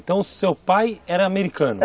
Então seu pai era americano?